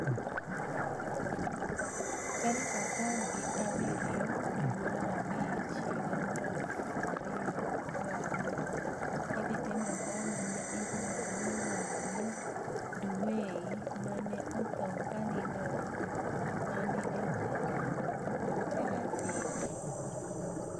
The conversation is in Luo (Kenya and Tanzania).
Tarik apar gi abiryo dwe mar abich higa 2020 idhi tim rapar mar ja israel miluonigo nii Du Wei ma ni e otho kaniinido eode manii egwenige ma tel- aviv.